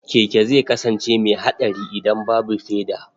Keke zai kasance mai haɗari idan babu feda.